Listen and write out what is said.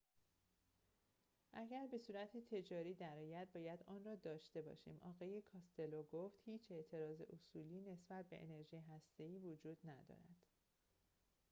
اگر به صورت تجاری درآید باید آن‌را داشته باشیم آقای کاستلو گفت هیچ اعتراض اصولی نسبت به انرژی هسته‌ای وجود ندارد